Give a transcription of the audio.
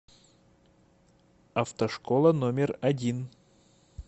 автошкола номер один